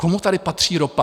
Komu tady patří ropa?